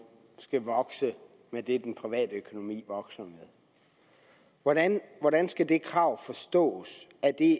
skal vokse med det den private økonomi vokser med hvordan hvordan skal det krav forstås